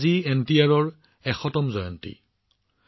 আজি এনটিআৰৰ শততম জন্ম জয়ন্তী